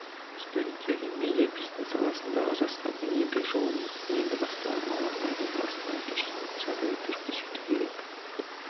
студенттерге медиа бизнес саласындағы жастардың еңбек жолын енді бастаған мамандардың басынан кешкен жағдаяттар көрсету керек